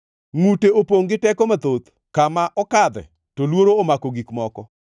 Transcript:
Ngʼute opongʼ gi teko mathoth; kama okadhe, to luoro omako gik moko.